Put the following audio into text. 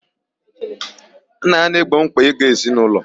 Nna ya na-egbo mkpa ego ezinụlọ.